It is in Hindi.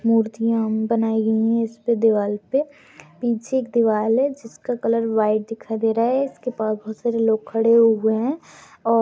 मूर्तियाँ बनाई गई है इसपे दीवार पे पीछे एक दीवार है जिसका कलर व्हाइट दिखाई दे रहा है जिसके पास बहुत सारे लोग खड़े हुए है ओ --